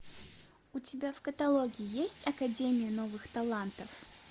у тебя в каталоге есть академия новых талантов